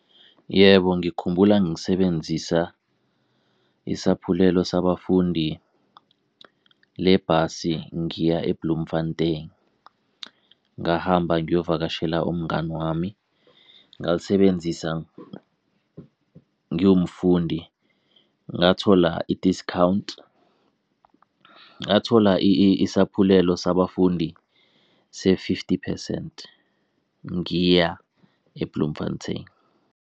Yebo, ngikhumbula ngisebenzisa isaphulelo sabafundi lebhasi ngiya eBloemfontein. Ngahamba ngiyokuvakashela umngani wami ngalisebenzisa ngiwumfundi ngathola i-discount, ngathola isaphulelo sabafundi se-fifty percent ngiya eBloemfontein.